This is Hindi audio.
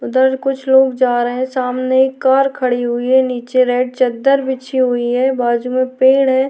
उधर कुछ लोग जा रहे है सामने कार खड़ी हुई है नीचे रेड चद्दर बिछी हुई है बाजू में पेड़ है।